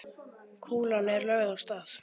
Kúlan er lögð af stað.